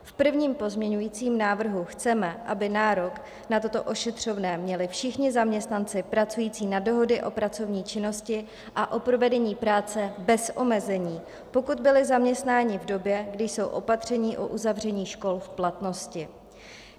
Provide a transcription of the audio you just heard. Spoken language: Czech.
V prvním pozměňovacím návrhu chceme, aby nárok na toto ošetřovné měli všichni zaměstnanci pracující na dohody o pracovní činnosti a o provedení práce bez omezení, pokud byli zaměstnáni v době, kdy jsou opatření o uzavření škol v platnosti.